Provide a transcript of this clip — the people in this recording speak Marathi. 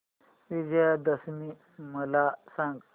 विजयादशमी मला सांग